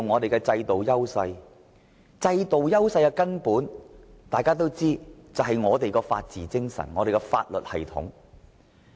大家皆知道，香港在制度上的根本優勢便在於我們的法治精神和法律系統。